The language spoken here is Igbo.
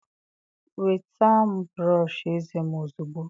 Nweta m brọsh eze m ozugbo.